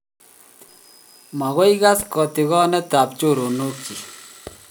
magoi kas katigonet ab choronok chik